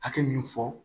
Hakɛ min fɔ